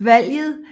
Valget